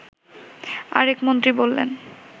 আরেক মন্ত্রী বললেন